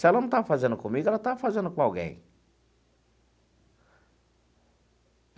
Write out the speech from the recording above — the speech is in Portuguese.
Se ela não está fazendo comigo, ela está fazendo com alguém.